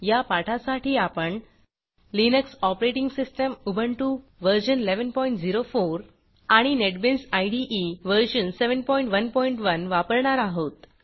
या पाठासाठी आपण लिनक्स ऑपरेटिंग सिस्टीम उबुंटू व्ह1104 आणि नेटबीन्स इदे व्ह711 वापरणार आहोत